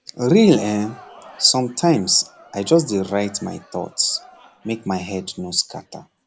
real[um]sometimes i just dey write my thoughts make head no scatter